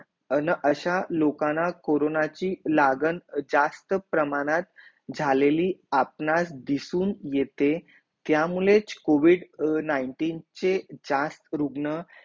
अन असा लोकाना कोरोनाची लागण जास्त प्रमाणात झालेली आपणार दिसुन येते त्या मुळेच कोविद नाईन्टीन चे जास्त रुग्ण